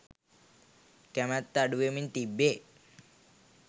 කැමැත්ත අඩු වෙමින් තිබේ.